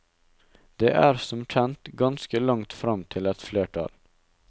Det er som kjent ganske langt frem til et flertall.